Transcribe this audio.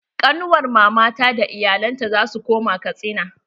Ƙanuwar mama ta da iyalen ta zasu koma Katsina.